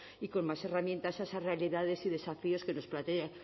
y con más herramientas a esas realidades y desafíos que